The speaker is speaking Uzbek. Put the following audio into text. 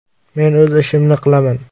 “Men o‘z ishimni qilaman.